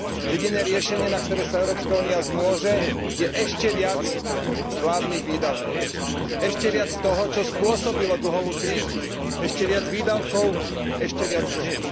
Jediné riešenie, na ktoré sa Európska únia zmôže, je ešte viac vládnych výdavkov, ešte viac toho, čo spôsobilo dlhovú krízu, ešte viac výdavkov, ešte viac dlhov.